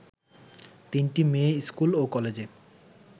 তিনটি মেয়ে স্কুল ও কলেজে